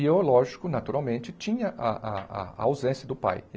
E eu, lógico, naturalmente, tinha a a a ausência do pai.